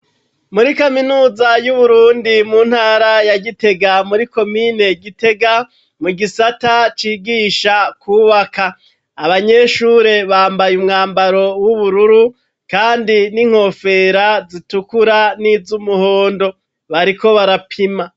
Muri kaminuza y'uburundi mu ntara ya gitega muri komine gitega mu gisata cigisha kubaka abanyeshure bambaye umwambaro w'ubururu, kandi n'inkofera zitukura n'izo umuhondo bariko barapima.